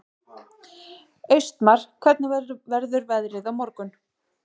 Austmar, hvernig verður veðrið á morgun?